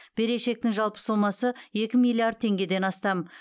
берешектің жалпы сомасы екі миллиард теңгеден астам